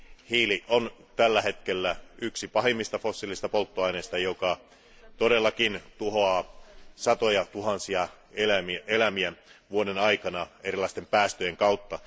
Hiili on tällä hetkellä yksi pahimmista fossiilisista polttoaineista, joka todellakin tuhoaa satojatuhansia elämiä vuoden aikana erilaisten päästöjen kautta.